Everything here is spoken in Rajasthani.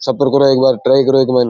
सफर करो एक बार ट्राई करो एक बार।